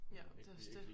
Ja det også dét